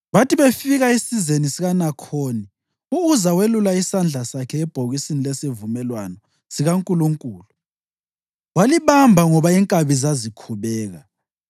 Bathi befika esizeni sikaNakhoni, u-Uza welulela isandla sakhe ebhokisini lesivumelwano sikaNkulunkulu walibamba ngoba inkabi zazikhubeka.